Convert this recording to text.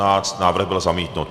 Návrh byl zamítnut.